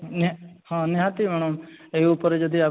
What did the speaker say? ହଁ ନିହାତି madam ଏଇ ଉପରେ ଯଦି ଆପଣ